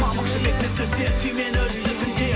мамық жібекті төсеп түймені үстіртіндеп